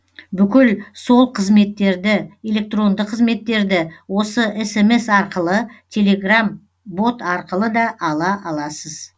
бүкіл сол қызметтерді электронды қызметтерді осы смс арқылы телеграм бот арқылы да ала аласыз